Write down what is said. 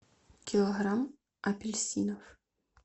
килограмм апельсинов